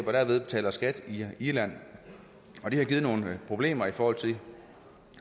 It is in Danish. og derved betaler skat i irland det har givet nogle problemer i forhold til